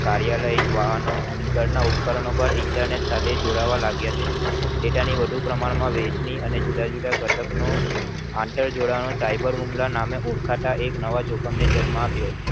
કાર્યાલય અને વાહનો અને ઘર ના Internet સાથે જોડાવવા લાગ્યા છે તેના વધુ પ્રમાણ ની વહેંચણી જુદા જુદા ઘટક નો આંધ્ર જોડાવવાનો cyber હુમલા નામેં ઓળખાતા એક નવા જોખમને જન્મ આપ્યો